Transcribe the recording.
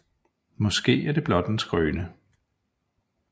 Måske er det blot en skrøne